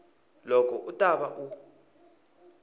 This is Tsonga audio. loko u ta va u